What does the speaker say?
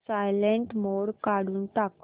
silent mode काढून टाक